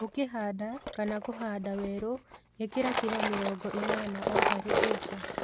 Ũkĩhanda kana kũhanda werũ, ĩkĩra kilo mĩrongo ĩnana o harĩ ĩka